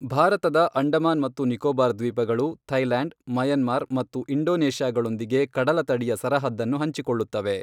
ಭಾರತದ ಅಂಡಮಾನ್ ಮತ್ತು ನಿಕೋಬಾರ್ ದ್ವೀಪಗಳು ಥೈಲ್ಯಾಂಡ್, ಮಯನ್ಮಾರ್ ಮತ್ತು ಇಂಡೋನೇಷ್ಯಾಗಳೊಂದಿಗೆ ಕಡಲತಡಿಯ ಸರಹದ್ದನ್ನು ಹಂಚಿಕೊಳ್ಳುತ್ತವೆ.